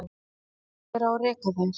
Hver á að reka þær?